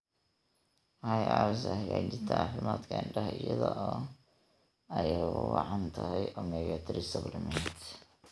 Waxay caawisaa hagaajinta caafimaadka indhaha iyada oo ay ugu wacan tahay omega-3 supplements.